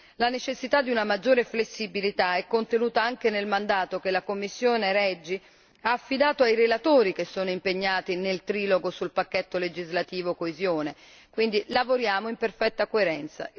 La necessità di una maggiore flessibilità è contenuta anche mandato che la commissione REGI ha affidato ai relatori che sono impegnati nel trilogo sul pacchetto legislativo coesione quindi lavoriamo in perfetta coerenza.